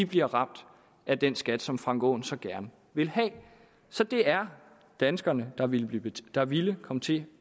bliver ramt af den skat som herre frank aaen så gerne vil have så det er danskerne der ville der ville komme til